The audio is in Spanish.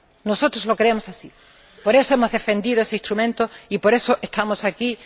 Nosotros lo creemos así por eso hemos defendido este instrumento y por eso estamos aquí.